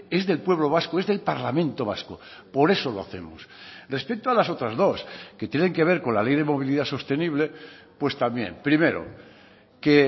es del pueblo vasco es del parlamento vasco por eso lo hacemos respecto a las otras dos que tienen que ver con la ley de movilidad sostenible pues también primero que